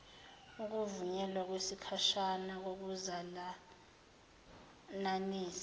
ukuvunyelwa kwesikhashana kokuzalananisa